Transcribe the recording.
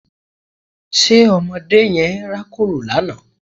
Ṣe ọmọdé yẹn rákòrò lánàá?